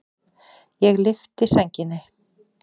Ég lyfti sænginni.